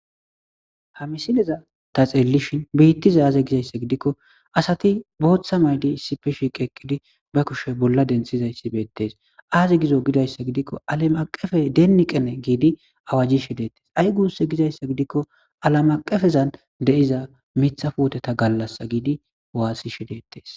Hamisineza ta xeellishin biittiza aaze gizayssa gidikko asati booththa maydi issipfe shiiqeeqqidi ba kushe bolla denthizayssi beettees aaze gizo gidayssa gidikko alamaqefe deenni qene giidi awajjishi deettes ay gunse gizayssa gidikko alamaqefezan de7iza mitha puoteta gallasa giidi waassi shi deettes